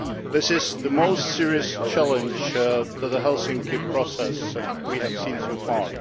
It is the most serious challenge to the Helsinki Process we have seen so far.